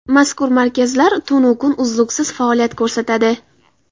Mazkur markazlar kun-u tun, uzluksiz faoliyat ko‘rsatadi.